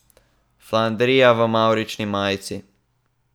Flandrija v mavrični majici ...